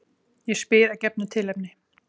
Ég spyr að gefnu tilefni.